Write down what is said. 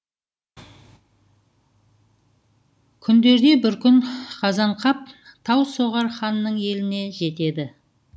күндерде бір күн қазанқап таусоғар ханның еліне жетеді